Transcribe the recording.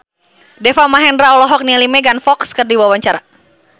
Deva Mahendra olohok ningali Megan Fox keur diwawancara